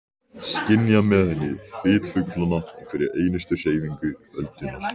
Skynja með henni þyt fuglanna og hverja einustu hreyfingu öldunnar.